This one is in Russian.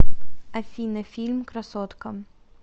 афина фильм красотка